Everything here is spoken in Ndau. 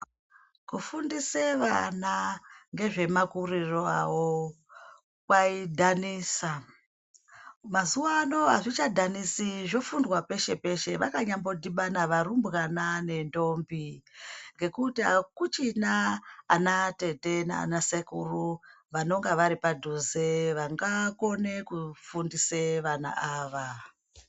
Kufundise vana ngezvemakurire avo kwaidhanisa, mazuvano azvichadhanisi zvofundwa peshe peshe vanyambodhibana varumbwana nentombi ngekuti akuchina ana atete nanasekuru vanonga varipadhuze vangakone kufundise vana ava.